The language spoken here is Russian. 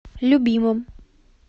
любимом